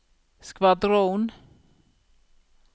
skvadron